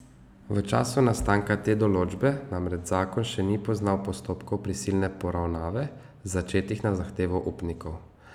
V času nastanka te določbe namreč zakon še ni poznal postopkov prisilne poravnave, začetih na zahtevo upnikov.